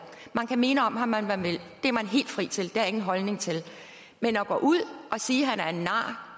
man kan mene om ham hvad man vil det er man helt fri til det har jeg ingen holdning til men at gå ud og sige at han er en nar